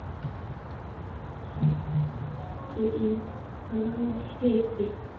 hér á eftir.